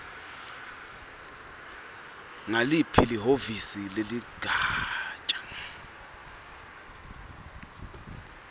nguliphi lihhovisi leligatja